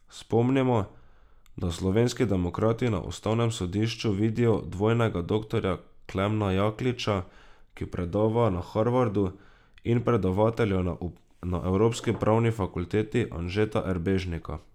Spomnimo, da Slovenski demokrati na ustavnem sodišču vidijo dvojnega doktorja Klemna Jakliča, ki predava na Harvardu, in predavatelja na Evropski pravni fakulteti Anžeta Erbežnika.